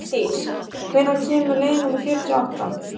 Linddís, hvenær kemur leið númer fjörutíu og átta?